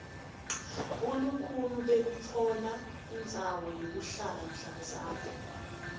bulukhuni bekutfola indzawo yekuhlala mhlazana